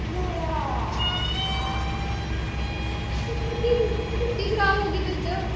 ਤੇ ਫੇਰ ਕੀ ਸੀ ਗੱਡੀ ਖਰਾਬ ਹੋ ਗਈ ਵਿੱਚ।